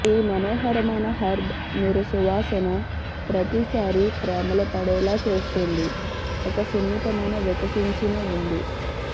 ఈ మనోహరమైన హెర్బ్ మీరు సువాసన ప్రతిసారీ ప్రేమలో పడేలా చేస్తుంది ఒక సున్నితమైన వికసించిన ఉంది